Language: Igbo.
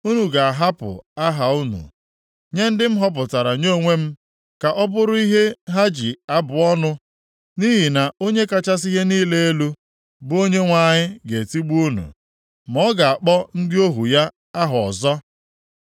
Unu ga-ahapụ aha unu nye ndị m họpụtara nye onwe m ka ọ bụrụ ihe ha ji abụ ọnụ; nʼihi na Onye kachasị ihe niile elu, bụ Onyenwe anyị ga-etigbu unu, ma ọ ga-akpọ ndị ohu ya aha ọzọ.